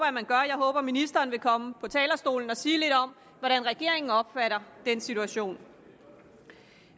at man gør jeg håber at ministeren vil komme på talerstolen og sige lidt om hvordan regeringen opfatter den situation